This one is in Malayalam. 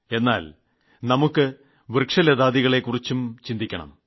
എന്നാൽ വൃക്ഷലതാദികളെകുറിച്ചും നമുക്ക് ചിന്തിക്കണം